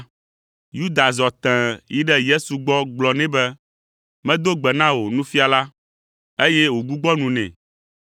Yuda zɔ tẽe yi ɖe Yesu gbɔ gblɔ nɛ be, “Medo gbe na wò, Nufiala,” eye wògbugbɔ nu nɛ.